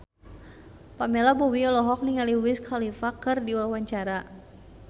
Pamela Bowie olohok ningali Wiz Khalifa keur diwawancara